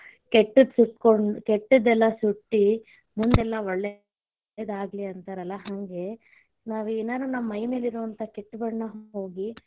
ಕೆಟ್ಟ ಸುಟ್ಟಕೊಂಡ್ ಕೆಟ್ಟದೆಲ್ಲ ಸುಟ್ಟ ಮುಂದೆಲ್ಲಾ ಒಳ್ಳೇದಾಗ್ಲೀ ಅಂತರಲಾ ಹಂಗೆ, ನಾವೆನರ್ ನಮ್ ಮೈಮೇಲಿರೋಂತ ಕೆಟ್ಟ ಬಣ್ಣ ಹೋಗಿ.